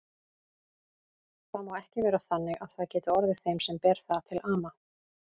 Það má ekki vera þannig að það geti orðið þeim sem ber það til ama.